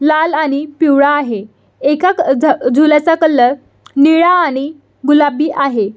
लाल आणि पिवळा आहे एका झ झुल्याचा कलर निळा आणि गुलाबी आहे.